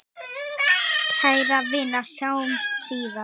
Kæra vina, sjáumst síðar.